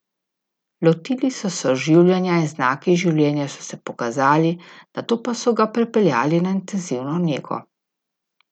Lotili so se oživljanja in znaki življenja so se pokazali, nato pa so ga prepeljali na intenzivno nego.